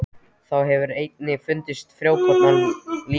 Þá hefur einnig fundist frjókorn af líni.